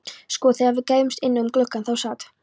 Sko, þegar við gægðumst inn um gluggann þá sat